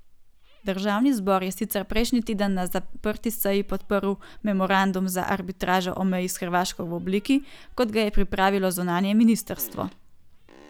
Državni zbor je sicer prejšnji teden na zaprti seji podprl memorandum za arbitražo o meji s Hrvaško v obliki, kot ga je pripravilo zunanje ministrstvo.